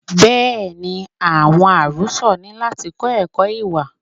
Bẹẹni, àwọn arosọ ni láti kọ ẹkọ ìwà.